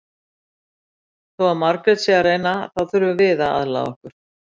Þó að Margrét sé að reyna þá þurfum við aðlaga okkur.